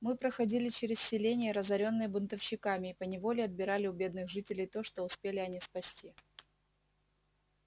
мы проходили через селения разорённые бунтовщиками и поневоле отбирали у бедных жителей то что успели они спасти